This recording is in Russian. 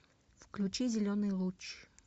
включи зеленый луч